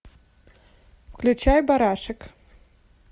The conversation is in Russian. включай барашек